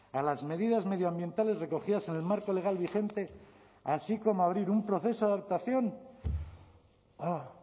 a las medidas medioambientales recogidas en el marco legal vigente así como abrir un proceso de adaptación ah